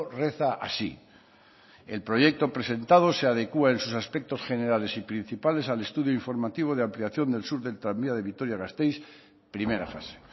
reza así el proyecto presentado se adecúa en sus aspectos generales y principales al estudio informativo de ampliación del sur del tranvía de vitoria gasteiz primera fase